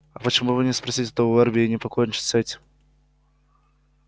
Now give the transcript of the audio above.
а почему бы не спросить у эрби и не покончить с этим